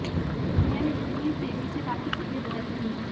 दुनिया में जितनी तेजी से बाकी चीजें बदल रही हैं